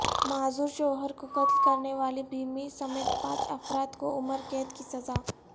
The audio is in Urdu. معذور شوہر کو قتل کرنے والی بیوی سمیت پانچ افراد کو عمر قید کی سزا